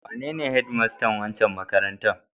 Wanene hedmastan wancan makarantar?